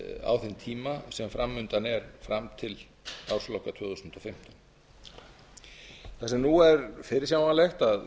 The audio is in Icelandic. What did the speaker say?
á þeim tíma sem fram undan er fram til ársloka tvö þúsund og fimmtán þar sem nú er fyrirsjáanlegt að